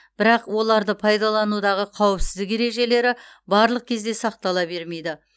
бірақ оларды пайдаланудағы қауіпсіздік ережелері барлық кезде сақтала бермейді